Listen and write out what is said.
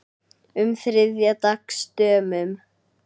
um þriðja dags dömum.